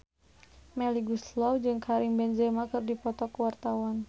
Melly Goeslaw jeung Karim Benzema keur dipoto ku wartawan